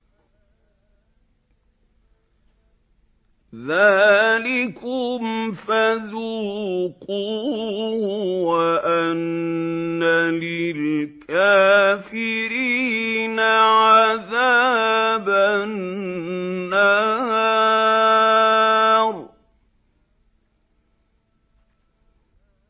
ذَٰلِكُمْ فَذُوقُوهُ وَأَنَّ لِلْكَافِرِينَ عَذَابَ النَّارِ